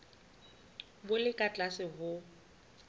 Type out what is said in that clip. bo le ka tlase ho